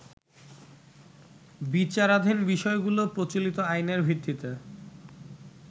বিচারাধীন বিষয়গুলো প্রচলিত আইনের ভিত্তিতে